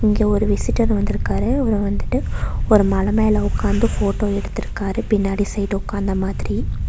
இங்க ஒரு விசிட்டர் வந்திருக்காரு அவரு வந்துட்டு ஒரு மல மேல உட்காந்து ஃபோட்டோ எடுத்துருக்காரு பின்னாடி சைடு உட்காந்த மாதிரி.